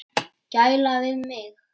Gæla við mig.